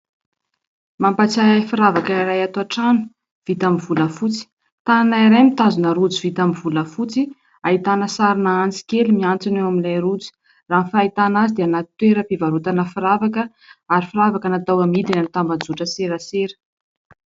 Mampatsiahy ahy firavaka iray ato an-trano vita avy amin'ny volafotsy. Tànana iray mitazona rojo vita amin'ny volafotsy ahitana sarin'antsy kely mihantona eo amin'ilay rojo. Raha ny fahitana azy dia anaty toeram-pivarotana firavaka ary firavaka natao amidy any amin'ny tambazotran-tserasera.